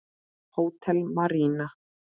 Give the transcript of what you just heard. Hótel Marína.